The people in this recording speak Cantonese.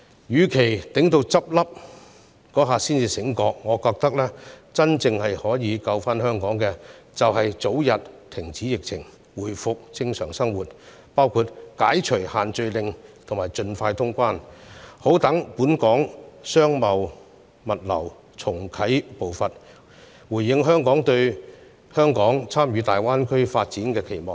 與其待他們結業時才醒覺——我認為真正可以拯救香港的，是盡早遏止疫情，讓生活回復正常，包括解除限聚令及盡快通關，好讓本港商貿和物流界重啟步伐，回應香港對參與大灣區發展的期望。